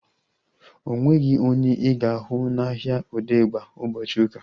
O nweghị onye ị ga-ahụ n'ahia Odegba ụbọchị ụka